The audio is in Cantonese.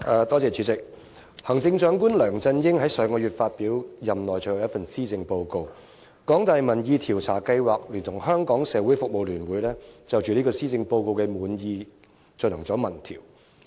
代理主席，行政長官梁振英在上月發表任內最後一份施政報告，香港大學民意研究計劃聯同香港社會服務聯會，就施政報告滿意度進行民意調查。